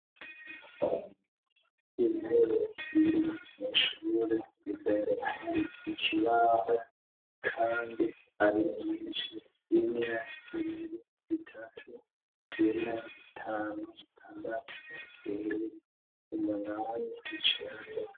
Imporo zirwi nishobore rizayratari ikibaho, kandi arimiinsi imwe zibiri zitatu zena zitane isitandatu urirori umanane icaga.